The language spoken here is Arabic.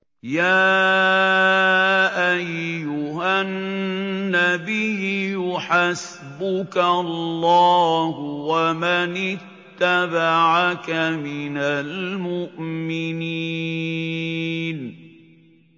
يَا أَيُّهَا النَّبِيُّ حَسْبُكَ اللَّهُ وَمَنِ اتَّبَعَكَ مِنَ الْمُؤْمِنِينَ